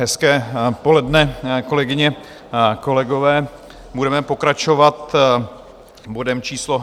Hezké poledne, kolegyně, kolegové, budeme pokračovat bodem číslo